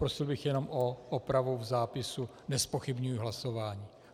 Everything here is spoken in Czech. Prosil bych jenom o opravu v zápisu, nezpochybňuji hlasování.